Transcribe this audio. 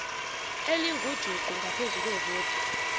elingujuqu ngaphezu kwevoti